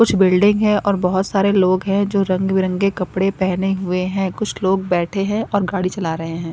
कुछ बिल्डिंग है और बहुत सारे लोग हैं जो रंग बिरंगे कपड़े पहने हुए हैं कुछ लोग बैठे हैं और गाड़ी चला रहे हैं।